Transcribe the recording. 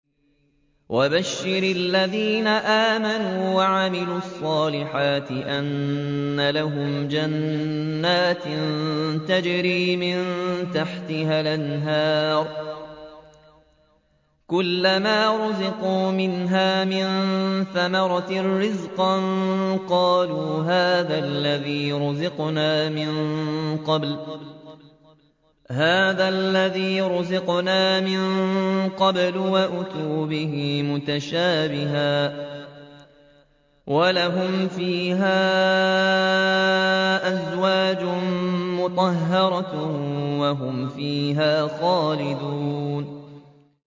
وَبَشِّرِ الَّذِينَ آمَنُوا وَعَمِلُوا الصَّالِحَاتِ أَنَّ لَهُمْ جَنَّاتٍ تَجْرِي مِن تَحْتِهَا الْأَنْهَارُ ۖ كُلَّمَا رُزِقُوا مِنْهَا مِن ثَمَرَةٍ رِّزْقًا ۙ قَالُوا هَٰذَا الَّذِي رُزِقْنَا مِن قَبْلُ ۖ وَأُتُوا بِهِ مُتَشَابِهًا ۖ وَلَهُمْ فِيهَا أَزْوَاجٌ مُّطَهَّرَةٌ ۖ وَهُمْ فِيهَا خَالِدُونَ